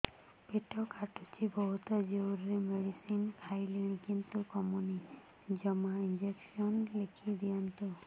ପେଟ କାଟୁଛି ବହୁତ ଜୋରରେ ମେଡିସିନ ଖାଇଲିଣି କିନ୍ତୁ କମୁନି ଜମା ଇଂଜେକସନ ଲେଖିଦିଅନ୍ତୁ